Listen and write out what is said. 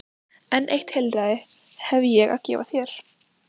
En eitt heilræði hef ég að gefa þér.